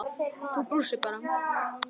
Þú brosir bara!